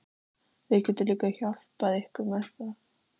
Við getum líka hjálpað ykkur með það